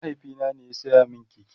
mahaifina ne ya saya min keke